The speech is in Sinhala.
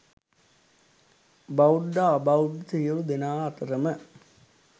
බෞද්ධ, අබෞද්ධ, සියලු දෙනා අතරම